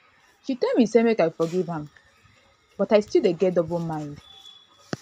she tell me say make i forgive am but i still dey get double mind